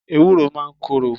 Ewuro máa ń korò.